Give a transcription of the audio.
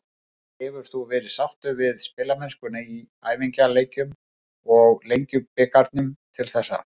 Hefur þú verið sáttur við spilamennskuna í æfingaleikjum og Lengjubikarnum til þessa?